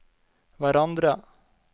hverandre